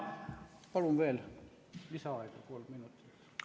Palun veel lisaaega kolm minutit!